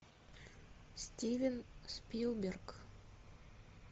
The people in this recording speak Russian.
стивен спилберг